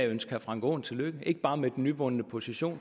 ønske herre frank aaen tillykke ikke bare med den nyvundne position